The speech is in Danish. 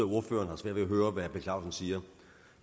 ordføreren har svært ved at høre hvad herre per clausen siger